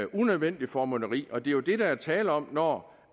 unødvendigt formynderi og det er jo det der er tale om når